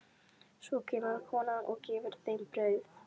Svo kemur konan og gefur þeim brauð.